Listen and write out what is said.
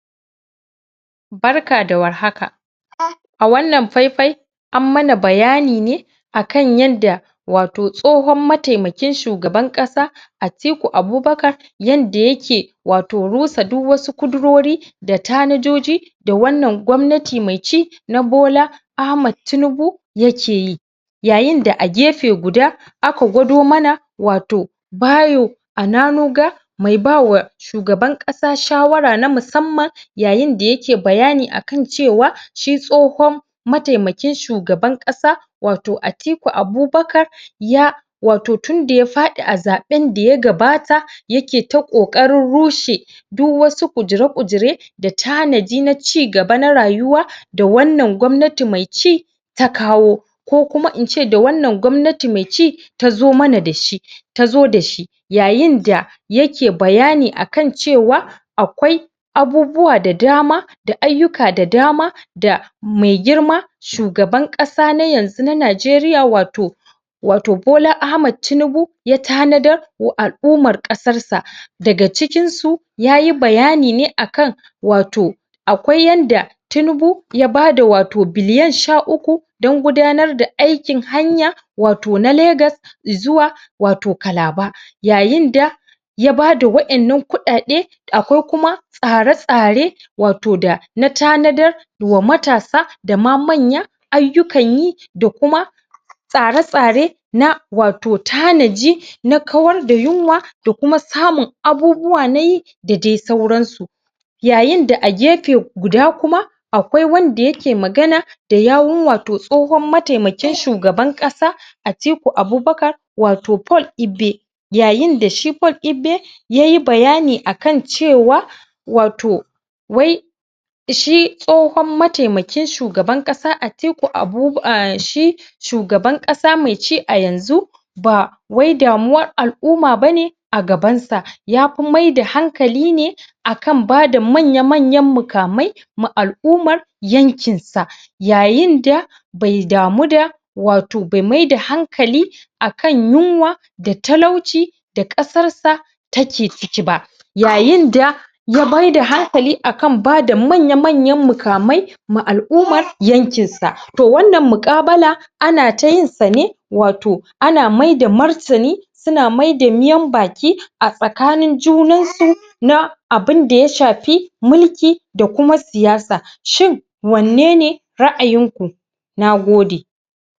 Barka da warhaka. A wannan fai-fai, an mana bayani ne a kan yadda wato tsohon mataimakin shugaban ƙasa Atiku Abubakar, yanda yake wato rusa duk wasu kudirori, da tanajoji da wannan gwamnati mai ci, na Bola Ahmad Tinibu ya keyi. Yayin da a gefe guda aka gwado mana, wato Bayo Ananuga, mai bawa mai bawa shugaban ƙasa shawara na musamman. Yayin da yake bayani a kan cewa, shi tsohon mataimakin shugaban ƙasa, wato Atiku Abubakar ya wato tunda ya faɗi a zaɓen da ya gabata, yake ta ƙoƙarin rushe duk wasu ƙudire-ƙudire, da tanadi na cigaba na rayuwa, da wannan gwamnati mai ci ta kawo, ko kuma in ce da wannan gwamnati mai ci tazo mana dashi tazo dashi. Yayin da yake bayani a kan cewa, akwai abubuwa da dama, da ayyuka da dama da mai girma shugaban ƙasa na yanzu na Najeriya, wato wato Bola Ahmad Tinibu, ya tanadar wa al'ummar ƙasar sa. Daga cikin su, yayi bayani ne a kan wato, akwai yanda Tinubu ya bada wato billiyan sha uku, dan gudanar da aikin hanya wato na Lagos, i'zuwa wato Calabar. Yayin da ya bada wa'innan kuɗaɗe, akwai kuma tsare-tsare, wato da na tanadar wa matasa, da ma manya ayyukan yi, da kuma tsare-tsare na wato tanaji na kawar da yunwa, da kuma samun abubuwa na yi, da dai sauran su. Yayin da a gefe guda kuma, akwai wanda yake magana da yawun wato tsohon mataimakin shugaban ƙasa Atiku Abubakar, wato Paul Ebe. Yayin da shi Paul Ebe, yayi bayani a kan cewa, wato shi tsohon mataimakin shugaban ƙasa Atiku shi shugaban ƙasa mai ci a yanzu, ba wai damuwar al'umma bane a gaban sa, yafi maida hankali ne a kan bada manya-manyan mukamai ma al'ummar yankin sa. Yayin da bai damu da, wato bai maida hankali a kan yunwa, da talauci, da ƙasar sa take ciki ba. Yayin da ya maida hankali a kan bada manya-manyan mukamai ma yankin sa. To, wannan muƙabala ana ta yin sa ne, wato ana maida martani, suna maida miyaun baki a tsakanin junan su, na abunda ya shafi mulki, da kuma siyasa, Shu=in wanne ne ra'ayin ku? Nagode.